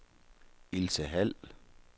Ilse Hald